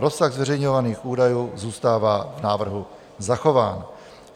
Rozsah zveřejňovaných údajů zůstává v návrhu zachován.